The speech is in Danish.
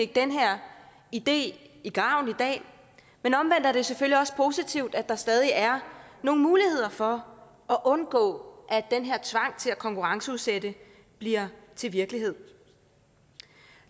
den her idé i graven i dag men omvendt er det selvfølgelig også positivt at der stadig er nogle muligheder for at undgå at den her tvang til at konkurrenceudsætte bliver til virkelighed